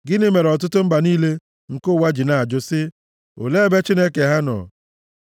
Gịnị mere ọtụtụ mba niile nke ụwa ji na-ajụ sị, “Olee ebe Chineke ha nọ?”